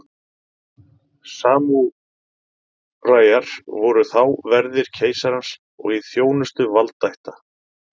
Samúræjar voru þá verðir keisarans og í þjónustu valdaætta.